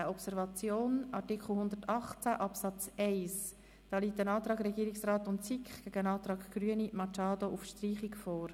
Zum Kapitel 7.2.16, Observation, liegen zu Artikel 118 Absatz 1 ein Antrag Regierungsrat/SiK sowie ein Antrag Grüne/Machado auf Streichung vor.